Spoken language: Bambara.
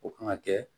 O kan ka kɛ